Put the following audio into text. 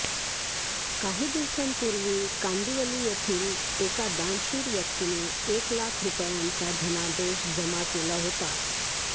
काही दिवसांपूर्वी कांदिवली येथील एका दानशूर व्यक्तीने एक लाख रुपयांचा धनादेश जमा केला होता